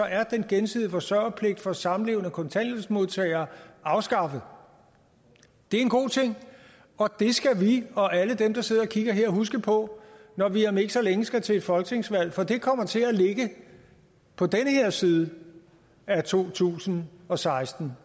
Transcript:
er den gensidige forsørgerpligt for samlevende kontanthjælpsmodtagere afskaffet det er en god ting og det skal vi og alle dem der sidder og kigger her huske på når vi om ikke længe skal til et folketingsvalg for det folketingsvalg kommer til at ligge på den her side af to tusind og seksten